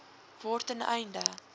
word ten einde